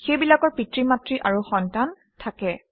সেইবিলাকৰ পিতৃ মাতৃ আৰু সন্তান থাকে